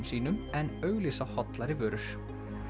sínum en auglýsa hollari vörur